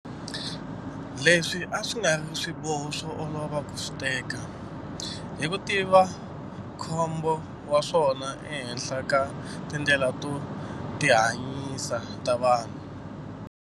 Leswi a swi nga ri swiboho swo olova ku swi teka, hi ku tiva nkhumbo wa swona ehenhla ka tindlela to tihanyisa ta vanhu.